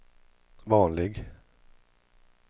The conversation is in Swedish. vanlig